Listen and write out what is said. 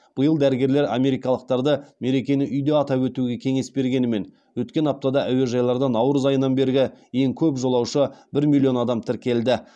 биыл дәрігерлер америкалықтарды меркені үйде атап өтуге кеңес бергенімен өткен аптада әуежайларда наурыз айынан бергі ең көп жолаушы бір миллион адам тіркелді